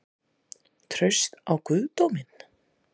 Traust á guðdóminn?